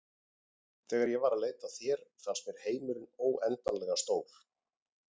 Þegar ég var að leita að þér fannst mér heimurinn óendanlega stór.